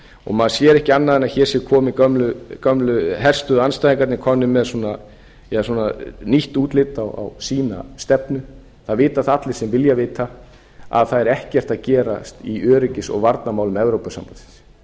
og maður sér ekki annað en að hér séu gömlu herstöðvaandstæðingarnir komnir með svona nýtt útlit á sína stefnu það vita það allir sem vilja vita að það er ekkert að gerast í öryggis og varnarmálum evrópusambandsins